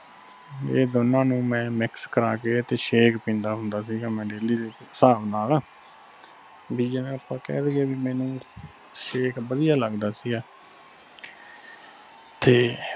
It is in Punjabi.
ਇਹ ਦੋਨਾਂ ਨੂੰ ਮੈਂ mix ਕਰਾ ਕੇ ਤੇ shake ਪੀਦਾ ਹੁੰਦਾ ਸੀ ਗਾ ਮੈਂ daily ਦੇ ਹਿਸਾਬ ਨਾਲ ਬਈ ਜਿਵੇ ਆਪਾ ਕਹਿ ਦਈਏ ਬਈ ਮੈਨੂੰ shake ਵਧਿਆ ਲੱਗਦਾ ਸੀ ਇਹ ਤੇ